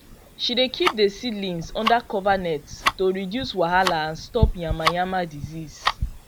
she dey keep the seedlings under cover net to reduce wahala and stop yamayama disease